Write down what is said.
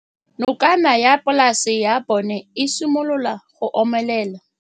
Nokana ya polase ya bona, e simolola go omelela.